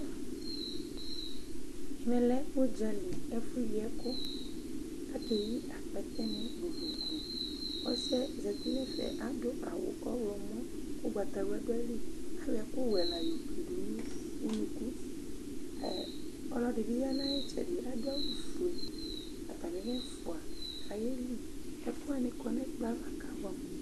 Ɛmɛ lɛ ʊdzãli, ɛfʊ yi ɛkʊ Akeyi akpɛtɛnɩ vovovo Ɔsiɛ zeti nʊ ɛfɛ adʊ awʊ ɔwlɔmɔ, ʊgbatawla dʊ ayiliAyɔ ɛkʊwɛ la yoklidʊ nʊ ʊnʊkʊ Ɔlɔdi bɩ ya nʊ ayitsɛdɩ, atamilɛfʊa kayeli adʊ awʊfoe Ɛkʊwanɩ kɔ nʊ ɛkplɔava kʊabʊɛamʊ